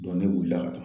ne wulila ka taa